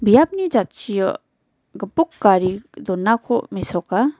biapni jatchio gipok gari donako mesoka.